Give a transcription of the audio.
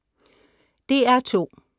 DR2: